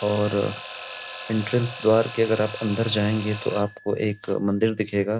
और एंट्रेंस द्वार के अगर आप अंदर जाएंगे तो आपको अ एक मंदिर दिखेगा।